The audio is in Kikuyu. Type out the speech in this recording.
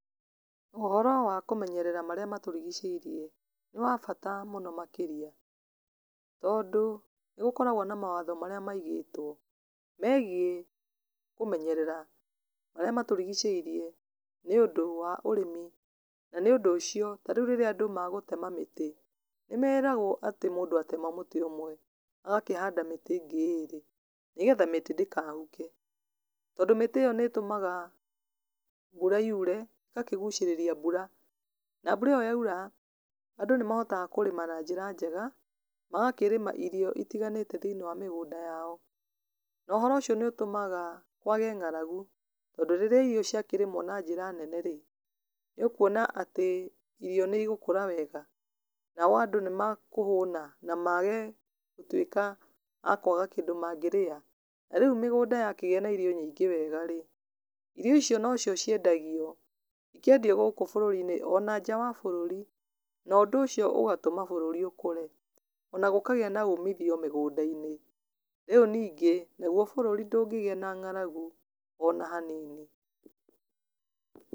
Ũhoro wa kũmenyerera marĩ matũrigicĩirie nĩ wa bata mũno makĩria, tondũ nĩgũkoragwo na mawatho marĩa makoragwo maigĩtwo megiĩ kũmenyerera marĩa matũrigicĩirie nĩũndũ wa ũrĩmi. Na nĩũndũ ũcio, ta rĩu rĩrĩa andũ megũtema mĩtĩ, nĩmeragwo atĩ mũndũ atema mũtĩ ũmwe agakĩhanda mĩtĩ ĩngĩ ĩrĩ, nĩgetha mĩtĩ ndĩkahuke. Tondũ mĩtĩ ĩyo nĩ ĩtũmaga mbũra yure, ĩgakĩgucĩrĩria mbura. Na mbura ĩyo yaura, andũ nĩ mahotaga gũkorwo makĩrima na njĩra njega, magakĩrĩma irio itiganĩte thĩiniĩ wa mĩgũnda yao. Na ũhoro ũcio nĩ ũtũmaga kwage ng'aragu, tondũ rĩrĩa irio ciakĩrĩmwo na njĩra nene-rĩ, nĩ ũkuona atĩ irio nĩ igũkũra wega. Nao andũ nĩma kũhuna na maage gũtuĩka a kwaga kĩndũ mangĩrĩa. Ta rĩu mĩgunda yakĩgĩa na irio nyingĩ wega-rĩ, irio icio nocio ciendagio, ikendio gũkũ bũrũri-inĩ o na nja wa bũrũri. Na ũndũ ũcio ũgatũma bũrũri ũkũre. Ona gũkagia umithio mĩgũnda-inĩ. Rĩũ ningĩ, naguo bũrũri ndũngĩgĩa na ng'aragu ona hanini.